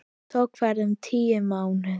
Tók ferðin um tíu mánuði.